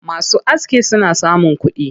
Masu aski suna samun kuɗi.